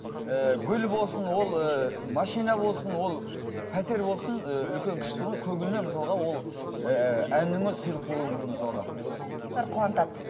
ііі гүл болсын ол ыыы машина болсын ол пәтер болсын ыыы үлкен кішісі болмайды көбіне мысалға ол ыыы әннің өзі сыйлық болуы мүмкін мысалға ән ол екі жүз адамды қатар қуантады